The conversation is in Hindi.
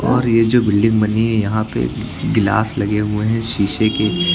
और ये जो बिल्डिंग बनी है यहाँ पे गिलास लगे हुए शीशे के।